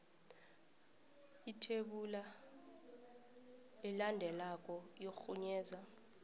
ithebula elandelako irhunyeza